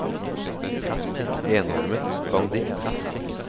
enarmet banditt